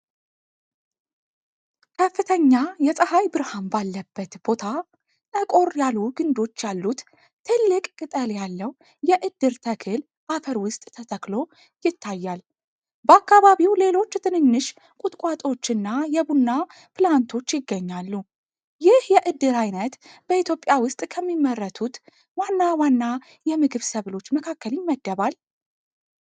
ከፍተኛ የፀሀይ ብርሃን ባለበት ቦታ፣ ጠቆር ያሉ ግንዶች ያሉት ትልቅ ቅጠል ያለው የእድር ተክል አፈር ውስጥ ተተክሎ ይታያል። በአካባቢው ሌሎች ትንንሽ ቁጥቋጦዎችና የቡና ፕላንቶች ይገኛሉ። ይህ የእድር አይነት በኢትዮጵያ ውስጥ ከሚመረቱት ዋና ዋና የምግብ ሰብሎች መካከል ይመደባል?